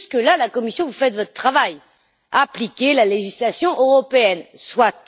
Jusque là je m'adresse à la Commission vous faites votre travail appliquer la législation européenne, soit!